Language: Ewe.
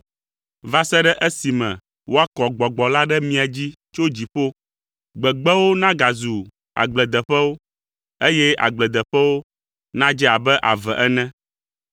va se ɖe esime woakɔ Gbɔgbɔ la ɖe mia dzi tso dziƒo, gbegbewo nagazu agbledeƒewo, eye agbledeƒewo nadze abe ave ene.